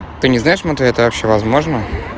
ты не знаешь матвей это вообще возможно